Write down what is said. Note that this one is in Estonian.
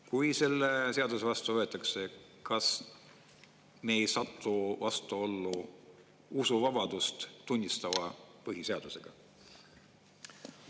Kui see seadus vastu võetakse, kas me ei satu vastuollu usuvabadust tunnistava põhiseadusega?